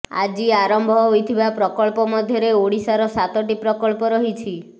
ଆଜି ଆରମ୍ଭ ହୋଇଥିବା ପ୍ରକଳ୍ପ ମଧ୍ୟରେ ଓଡ଼ିଶାର ସାତଟି ପ୍ରକଳ୍ପ ରହିଛି